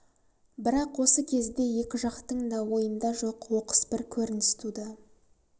бірақ осы кезде екі жақтың да ойында жоқ оқыс бір көрініс туды